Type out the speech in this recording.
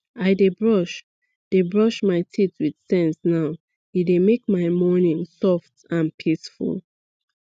i dey brush dey brush my teeth with sense now e dey make my morning soft and peaceful